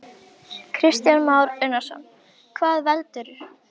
Kristján Már Unnarsson: Hvað veldur?